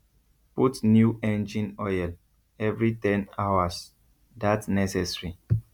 put new engine oil every ten hours that necessary